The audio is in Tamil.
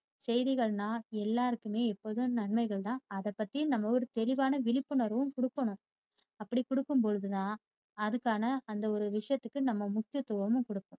செய்திகள்னா எல்லாருக்குமே எப்போதுமே நன்மைகள் தான். அத பத்தி நம்ம ஒரு தெளிவான விழிப்புணர்வும் கொடுக்கணும். அப்படி கொடுக்கும்ப்போழுது தான் அதுக்கான அந்த ஒரு விசயத்துக்கு நம்ம முக்கியத்துவமும் கொடுப்போம்.